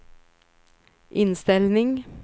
inställning